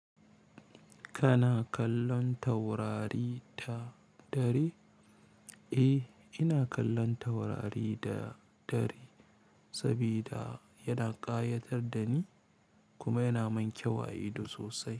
Kana kallon taurari da dare? Eh, ina kallon taurari da dare sabida yana ƙayatar da ni kuma yana mun kyau a ido sosai.